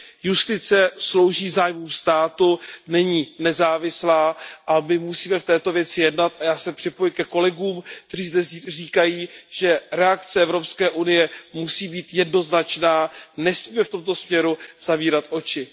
Justice slouží zájmům státu, není nezávislá a my musíme v této věci jednat a já se připojuji ke kolegům, kteří zde říkají, že reakce EU musí být jednoznačná, nesmíme v tomto směru zavírat oči.